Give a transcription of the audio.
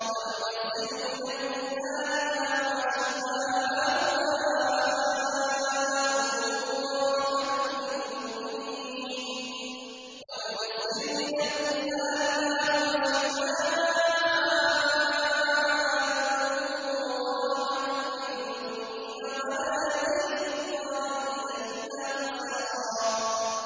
وَنُنَزِّلُ مِنَ الْقُرْآنِ مَا هُوَ شِفَاءٌ وَرَحْمَةٌ لِّلْمُؤْمِنِينَ ۙ وَلَا يَزِيدُ الظَّالِمِينَ إِلَّا خَسَارًا